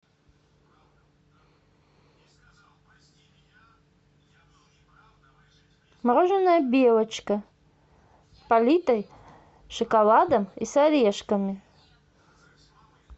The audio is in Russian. мороженое белочка политое шоколадом и с орешками